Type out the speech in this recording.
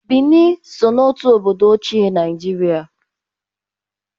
Bini so n'otu obodo ochie Naijiria